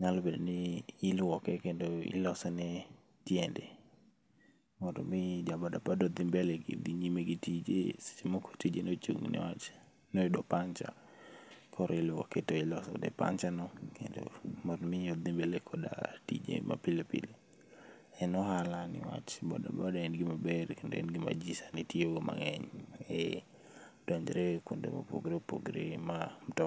nyalo bedo ni iluoke kendo ilosone tiende mondo mi ja boda boda odhi mbele gi tije seche moko tich ne ochung', noyudo puncture koro iIuoke to ilosone puncture no mon do mi odhi mbele bi tije mapile pile. En ohala niwach boda boda en gima ber, en gima ji sani tiyogo mang'eny, eh donjre kuonde mopogore opogore ma mutok.